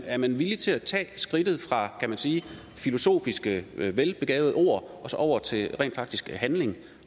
er man villig til at tage skridtet fra kan man sige filosofiske velbegavede ord og så over til handling